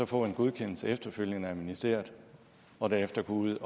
få en godkendelse efterfølgende af ministeriet og derefter gå ud